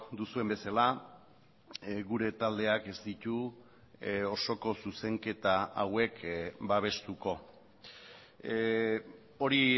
duzuen bezala gure taldeak ez ditu osoko zuzenketa hauek babestuko hori